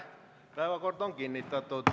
Päevakord on kinnitatud.